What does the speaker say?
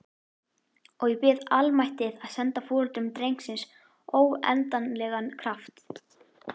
Og ég bið almættið að senda foreldrum drengsins óendanlegan kraft.